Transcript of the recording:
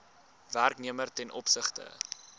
werknemer ten opsigte